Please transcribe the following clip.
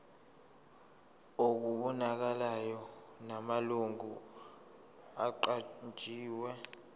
okubonakalayo namalungu aqanjiwe